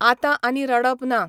आतांआनी रडप ना.